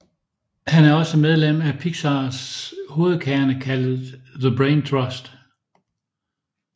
Han er også medlem af Pixars hovedkerne kaldet The Brain Trust